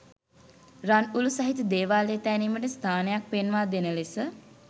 රන්උලූ සහිත දේවාලය තැනීමට ස්ථානයක් පෙන්වාදෙන ලෙස